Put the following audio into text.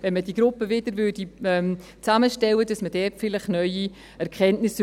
Wenn man diese Gruppe wieder zusammenstellen würde, erhielte man dort vielleicht neue Erkenntnisse.